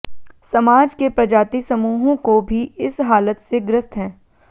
समाज के प्रजाति समूहों को भी इस हालत से ग्रस्त हैं